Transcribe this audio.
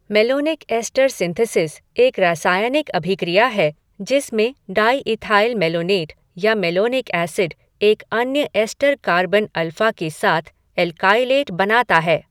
Malonic ester synthesis एक रासायनिक अभिक्रिया है जिसमें डायईथाइल मैलोनेट या मेलोनिक एसिड एक अन्य एस्टर कार्बन अल्फ़ा के साथ एल्काइलेट बनाता है।